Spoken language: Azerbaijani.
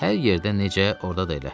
Hər yerdə necə, orada da elə.